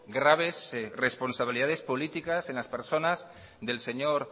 graves responsabilidades políticas en las personas del señor